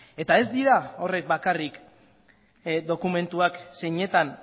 eta ez dira horrek bakarrik dokumentuak zeinetan